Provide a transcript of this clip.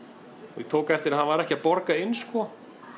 ég tók eftir að hann var ekki að borga inn sko